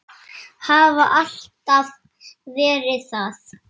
Hafa alltaf verið það.